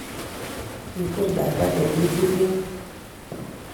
Kikwer mama nenyi kurget